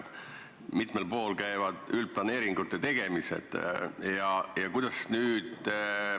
Mitmel pool käivad üldplaneeringute tegemised.